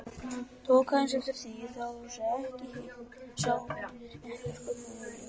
Tók aðeins eftir því, sá ekki hitt, sá ekki sköpun Júlíu.